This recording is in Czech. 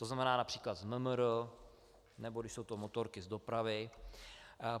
To znamená například z MMR, nebo když jsou to motorky, z dopravy.